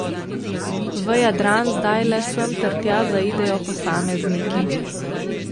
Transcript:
V Jadran zdaj le sem ter tja zaidejo posamezniki.